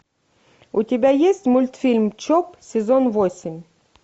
у тебя есть мультфильм чоп сезон восемь